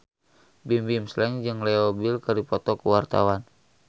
Bimbim Slank jeung Leo Bill keur dipoto ku wartawan